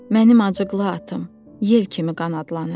Mənim acıqlı atım, yel kimi qanadlanır.